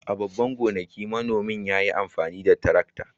A babban gonakin, manomin ya yi amfani da tarakta.